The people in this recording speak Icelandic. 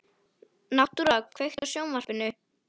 Náttúra, kveiktu á sjónvarpinu.